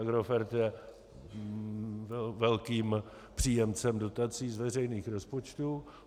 Agrofert je velkým příjemcem dotací z veřejných rozpočtů.